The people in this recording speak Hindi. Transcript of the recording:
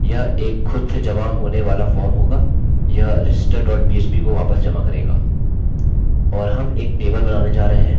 यह एक खुद से जमा होने वाला फॉर्म होगा यह register dot php को वापस जमा करेगा